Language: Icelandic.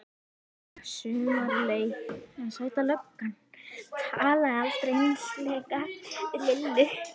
Sumarið leið en Sæta löggan talaði aldrei einslega við Lillu.